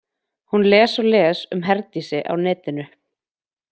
Hún les og les um Herdísi á netinu.